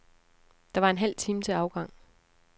Der var en halv time til afgang.